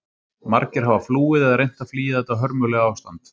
Margir hafa flúið eða reynt að flýja þetta hörmulega ástand.